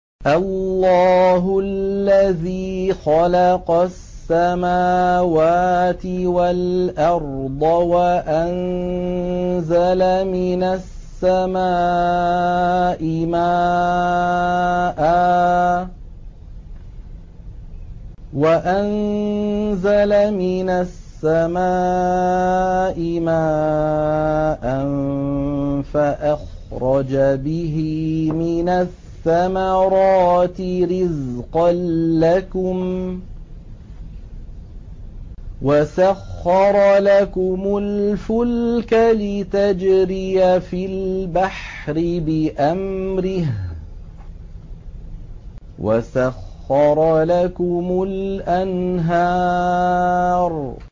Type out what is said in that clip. اللَّهُ الَّذِي خَلَقَ السَّمَاوَاتِ وَالْأَرْضَ وَأَنزَلَ مِنَ السَّمَاءِ مَاءً فَأَخْرَجَ بِهِ مِنَ الثَّمَرَاتِ رِزْقًا لَّكُمْ ۖ وَسَخَّرَ لَكُمُ الْفُلْكَ لِتَجْرِيَ فِي الْبَحْرِ بِأَمْرِهِ ۖ وَسَخَّرَ لَكُمُ الْأَنْهَارَ